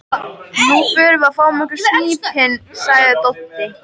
Nú förum við og fáum okkur á snípinn, sagði Doddi.